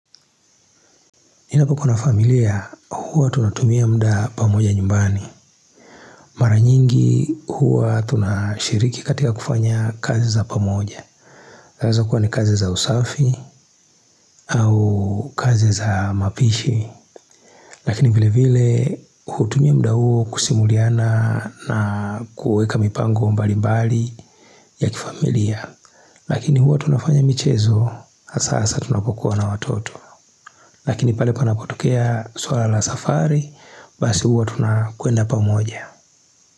Ninapo kua na familia, huwa tunatumia muda pamoja nyumbani Mara nyingi huwa tunashiriki katika kufanya kazi za pamoja zaweza kuwa ni kazi za usafi au kazi za mapishi Lakini vile vile hutumia mda huo kusimuliana na kuweka mipango mbali mbali ya kifamilia Lakini huwa tunafanya michezo hasa tunapokuwa na watoto Lakini pale panapotokea swala la safari, basi huwa tunakwenda pamoja.